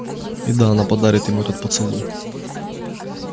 о да она подарит ему этот поцелуй